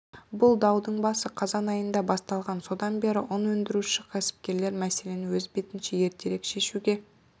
бұл даудың басы қазан айында басталған содан бері ұн өндіруші кәсіпкерлер мәселені өз бетінше ертерек шешуге